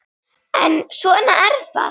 En svona er það.